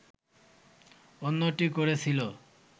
অন্যটি করেছিল